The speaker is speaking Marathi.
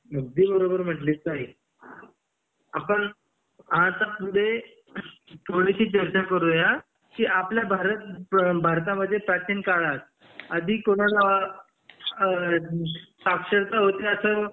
अगदी बरोबर म्हणलीस ताई आपण हा आता पुढे थोडीशी चर्चा करूया की आपल्या भारत भारतामध्ये प्राचीन काळात आधी कोणाला साक्षरता होती अस